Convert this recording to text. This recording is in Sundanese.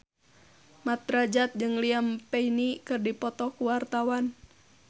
Mat Drajat jeung Liam Payne keur dipoto ku wartawan